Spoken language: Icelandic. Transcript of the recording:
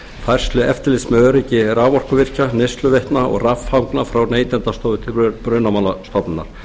færslu eftirlits með öryggi raforkuvirkja neysluveitna og raffanga frá neytendastofu til brunamálastofnunar